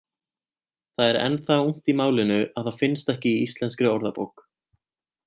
Það er enn það ungt í málinu að það finnst ekki í Íslenskri orðabók.